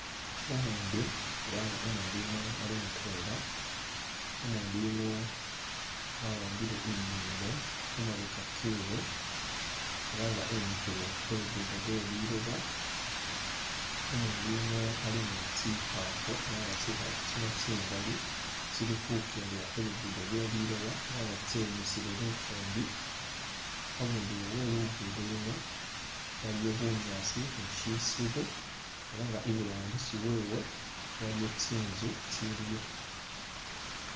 Umundu elah Umundu yuno ali mutwela wawambile emimbo khumabeka kewe elah nga wimikhile khu'luguddo lwe liloba umundu yuuno ali nitsikhafu elah tsikhafu tsino tsingaali tsikhukendela khu'luguddo khweliloba elah nga tsenyusile lufumbi abundulo weluguddo luno iliwo bunyaasi ni kumushiru iburangisi wewe waliyo tsinzu itsiliyo